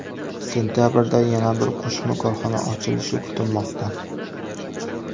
Sentabrda yana bir qo‘shma korxona ochilishi kutilmoqda.